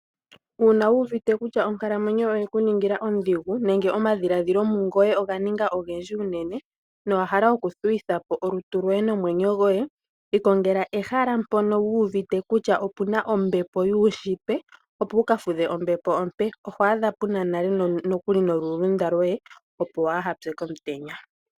Uuna wu uvite kutya onkalamwenyo yoye oyeku ningila ondhigu nenge omadhiladhilo mungoye oga ninga ogendji unene nowa hala oku thuwithapo olutu lwoye nomwenyo gwoye ikongela ehala mpono wu uvite kutya opuna ombepo yuushitwe opo wuka fudhe ombepo ompe, oho adha puna nale nokuli nolulunda lwoye opo wa hapye komutenya.